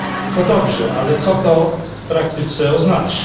To dobrze, ale co to w praktyce oznacza?